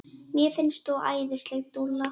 Mér finnst þú æðisleg dúlla!